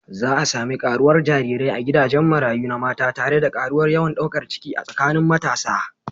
Za a sami karuwar jarirai a gidajen marayu na mata tare da karuwar yawan daukar ciki a tsakanin matasa.